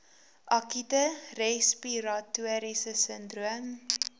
akute respiratoriese sindroom